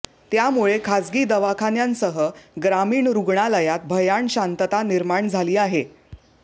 त्यामुळे खासगी दवाखान्यांसह ग्रामीण रुग्णालयात भयाण शांतता निर्माण झाली आहे